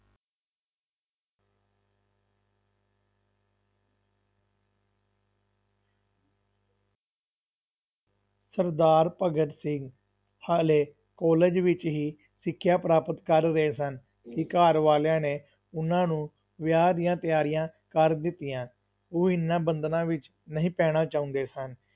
ਸਰਦਾਰ ਭਗਤ ਸਿੰਘ ਹਾਲੇ ਕਾਲਜ ਵਿੱਚ ਹੀ ਸਿਖਿਆ ਪ੍ਰਾਪਤ ਕਰ ਰਹੇ ਸਨ ਕਿ ਘਰ ਵਾਲਿਆਂ ਨੇ ਉਹਨਾਂ ਨੂੰ ਵਿਆਹ ਦੀਆਂ ਤਿਆਰੀਆਂ ਕਰ ਦਿੱਤੀਆਂ, ਉਹ ਇਹਨਾਂ ਬੰਧਨਾਂ ਵਿੱਚ ਨਹੀਂ ਪੈਣਾ ਚਾਹੁੰਦੇ ਸਨ,